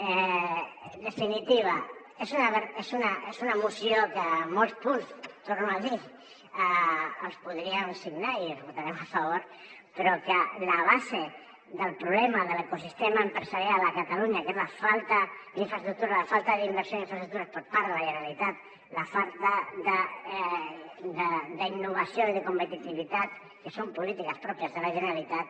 en definitiva és una moció que molts punts ho torno a dir els podríem signar i els votarem a favor però la base del problema de l’ecosistema empresarial a catalunya que és la falta d’infraestructures la falta d’inversió en infraestructures per part de la generalitat la falta d’innovació i de competitivitat que són polítiques pròpies de la generalitat